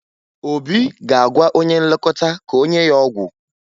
Obi ga-agwa onye nlekọta ka o nye ya ọgwụ